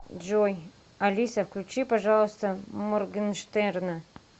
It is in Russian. джой алиса включи пожалуйста моргенштерна